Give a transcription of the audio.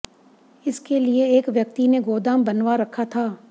इसके लिए एक व्यक्ति ने गोदाम बनवा रखा था